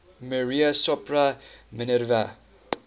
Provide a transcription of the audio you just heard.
maria sopra minerva